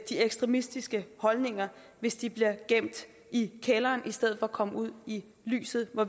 ekstremistiske holdninger hvis de bliver gemt i kælderen i stedet for at komme ud i lyset hvor